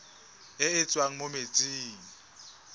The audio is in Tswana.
e e tswang mo metsing